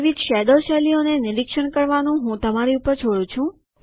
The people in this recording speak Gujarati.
વિવિધ શેડો શૈલીઓને નિરીક્ષણ કરવાનું હું તમારી ઉપર છોડું છું